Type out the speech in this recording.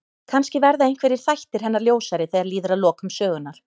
Kannski verða einhverjir þættir hennar ljósari þegar líður að lokum sögunnar.